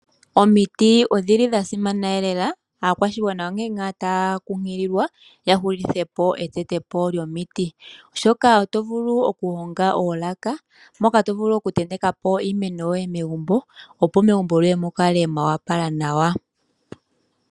Omiti odhili dha simana elela, aakwashigwa onkene ngaa taa kunkililwa ya hulithepo etetepo lyomiti shoka oto vulu okuhonga oolaka moka to vulu okutentekapo iimeno megumbo opo megumbo lyoye mu kale mwa opala nawa.